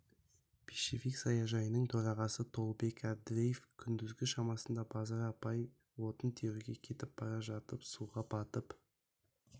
пищевик саяжайының төрағасы толыбек әбдіреев күндізгі шамасында базар апай отын теруге кетіп бара жатып суға батып